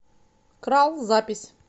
крал запись